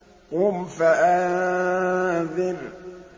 قُمْ فَأَنذِرْ